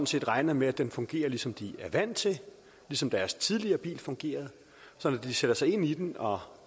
set regner med at den fungerer ligesom de er vant til ligesom deres tidligere bil fungerede så når de sætter sig ind i den og